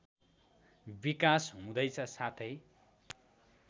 विकास हुँदैछ साथै